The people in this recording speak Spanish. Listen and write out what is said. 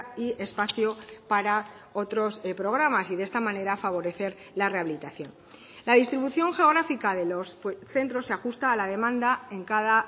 y espacio para otros programas y de esta manera favorecer la rehabilitación la distribución geográfica de los centros se ajusta a la demanda en cada